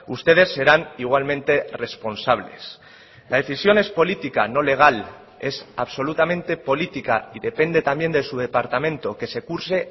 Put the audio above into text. ustedes serán igualmente responsables la decisión es política no legal es absolutamente política y depende también de su departamento que se curse